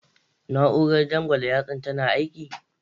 Na'urar dangwala yartsan tana aiki?